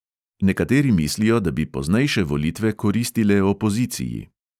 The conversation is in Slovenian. Nekateri mislijo, da bi poznejše volitve koristile opoziciji.